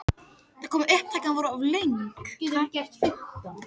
Tryggvaskála